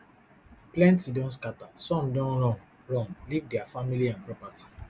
plenty don scatter some don run run leave dia family and property